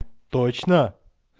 точно